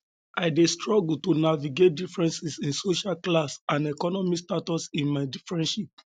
i dey struggle um to navigate differences in um social class and economic status in my friendships